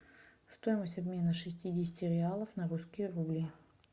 стоимость обмена шестидесяти реалов на русские рубли